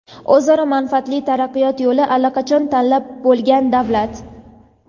o‘zaro manfaatli taraqqiyot yo‘lini allaqachon tanlab bo‘lgan davlat.